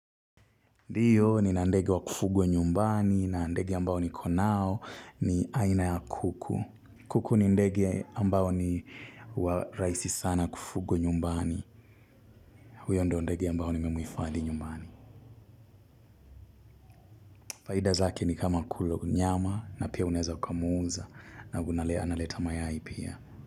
Ndio nina ndege wa kufugwa nyumbani na ndege ambao niko nao ni aina ya kuku. Kuku ni ndege ambao ni huwa rahisi sana kufugwa nyumbani. Huyo ndo ndege ambao ni memuhifadhi nyumbani. Faida zake ni kama kula nyama na pia unaweza ukumuuza na analeta mayai pia.